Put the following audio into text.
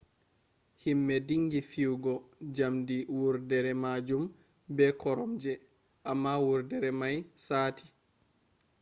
himme dingi fiyugo jamde wurdere majum be koromje amma wurdere mai sati